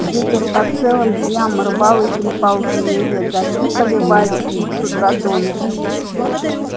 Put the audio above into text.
ветер по целым дням рвал и трепал деревья дожди поливали их с утра до ночи